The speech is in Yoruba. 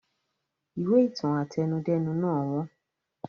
Ìwé ìtàn àtẹnudẹ́nu náà wọ́n